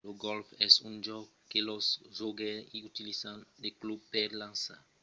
lo gòlf es un jòc que los jogaires i utilizan de clubs per lançar de balas dins de traucs